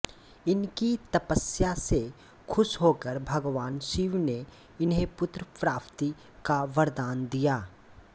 इनकी तपस्या से खुश होकर भगवान शिव ने इन्हे पुत्र प्राप्ति का वरदान दिया